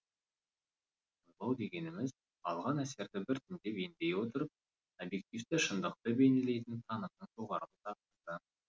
ойлау дегеніміз алған әсерді біртіндеп ендей отырып объективті шындықты бейнелейтін танымның жоғарғы сатысы